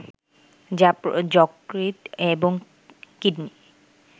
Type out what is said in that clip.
যা যকৃত এবং কিডনি